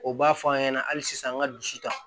O b'a fɔ an ɲɛna hali sisan an ka dusu ta